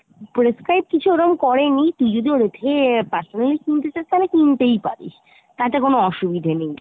prescribe কিছু ওরম করে নি তুই যদি ওদের থেকে আহ personally কিনতে চাস তাহলে কিনতেই পারিস , তাতে কোনো অসুবিধে নেই।